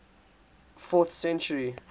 fourth century